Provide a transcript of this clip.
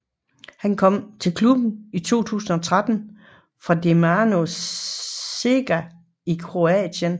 Han kom til klubben i 2013 fra Dinamo Zagreb i Kroatien